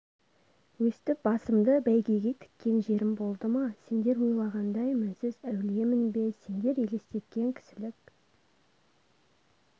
өстіп басымды бәйгеге тіккен жерім болды ма сендер ойлағандай мінсіз әулиемін бе сендер елестеткен кісілік